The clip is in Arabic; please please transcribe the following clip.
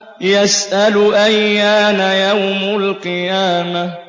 يَسْأَلُ أَيَّانَ يَوْمُ الْقِيَامَةِ